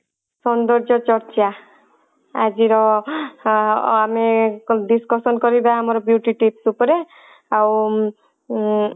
ସୌନ୍ଦର୍ଯ୍ୟ ଚର୍ଚା ଆଜି ର ଅ ଆମେ discussion କରିବା ଆମର beauty tips ଉପରେ ଆଉ ଉଁ